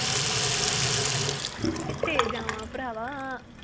ਕਿਥੇ ਜਾਵਾਂ ਭਰਾਵਾ